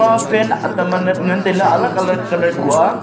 ema fan tam anet tai ley alag alag colour kuh aa.